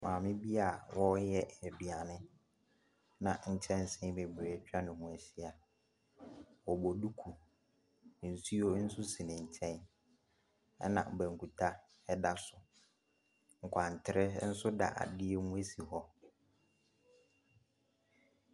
Maame bi a ɔreyɛ aduane na nkyɛnse bebree atwa ne ho ahyia, ɔbɔ duku, nsuo nso si ne nkyɛn, na banku ta da so, nkwantere nso da adeɛ mu si hɔ.